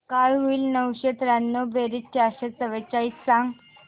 काय होईल नऊशे त्र्याण्णव बेरीज चारशे चव्वेचाळीस सांग